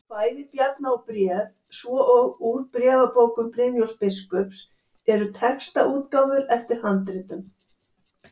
Kvæði Bjarna og Bréf, svo og Úr bréfabókum Brynjólfs biskups eru textaútgáfur eftir handritum.